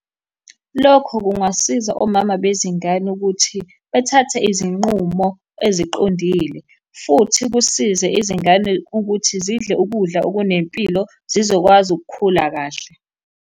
Lokho kungasiza omama bezingane ukuthi bethathe izinqumo eziqondile, futhi kusize izingane ukuthi zidle ukudla okunempilo zizokwazi ukukhula kahle.